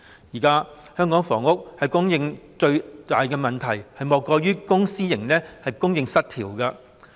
現時香港房屋供應最大的問題，莫過於公私營供應失調。